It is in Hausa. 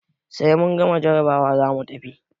Sai mun gama jarabawa zamu tafi.